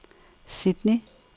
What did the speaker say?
Sydney